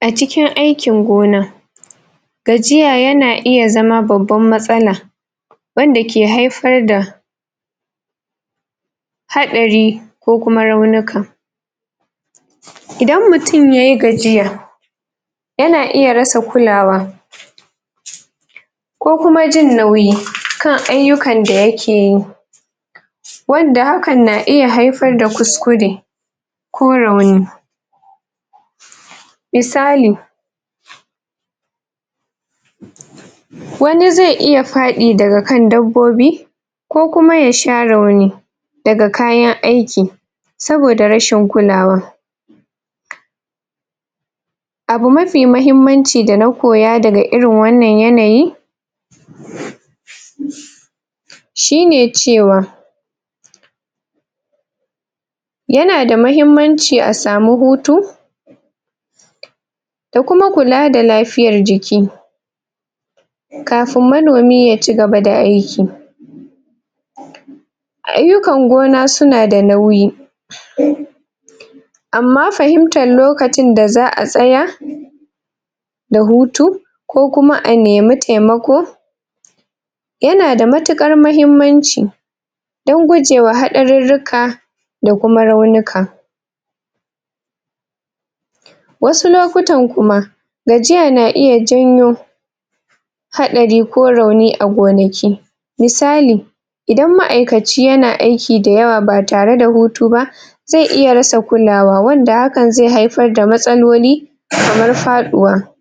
a cikin aikin gona gajiya yana iya zama babban matsala wanda ke haifar da haɗari ko kuma raunika idan mutun yayi gajiya yana iya rasa kulawa ko kuma jin nauyi kan aiyukan da yake yi wanda hakan na iya haifar da ƙuskure ko rauni misali wani zai iya faɗi daga kan dabbobi ko kuma ya sha rauni daga kayan aiki saboda rashin kulawa abi mafi mahimmanci da na koya daga irin wannan yanayi shine cewa yana da mahimmanci a samu hutu da kuma kula da lafiyar jiki kafun manomi ya cigaba da aiki aiyukan gona suna da nauyi amma fahimtan lokacin da za'a tsaya da hutu ko kuma a nemi taimako yana da matukar mahimmanci wajen guje wa haɗarurruka da kuma raunuka wasu lokutan kuma gajiya na iya janyo haɗari ko rauni a gonaki misali idan ma'aikaci yana aiki da yawa ba tare da hutu ba zai iya rasa kulawa wanda hakan zai haifar da matsaloli kamar faduwa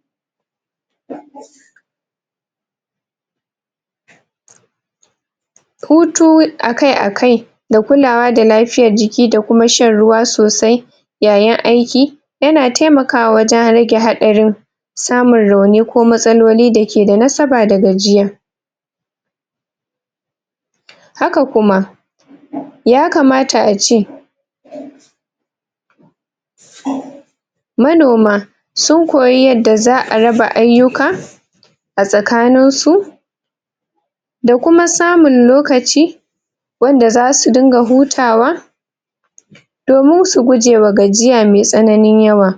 hutu a kai a kai da kulawa da lafiyar jiki da kuma shan ruwa sosai yayin aiki yana taimaka wajen rage haɗarin samun rauni ko matsaloli dake da nasaba da gajiya haka kuma yakamta ace manoma sun koyi yadda za'a raba aiyuka a tsakanin su da kuma samun lokaci wanda zasu dinga hutawa domin su guje wa gajiya mai tsananin yawa